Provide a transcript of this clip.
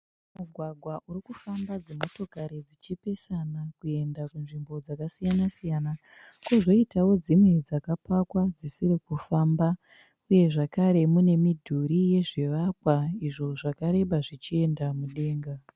Mugwagwa urikufamba dzimotokari dzichipesana kuenda kunzvimbo dzakasiyana siyana. Kozoitawo dzimwe dzakapakwa, dzisiri kufamba. Uye zvakare mine midhuri yezvivakwa izvo zvakareba zvichienda mudenga.